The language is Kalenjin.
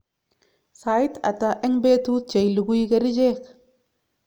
sait hata eng petut cheilugui kericheck?